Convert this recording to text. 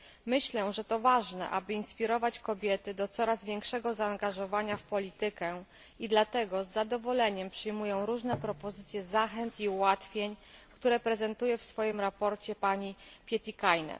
Myślę, że to ważne, aby inspirować kobiety do coraz większego zaangażowania w politykę, i dlatego z zadowoleniem przyjmuję różne propozycje zachęt i ułatwień, które prezentuje w swoim raporcie pani Pietikäinen.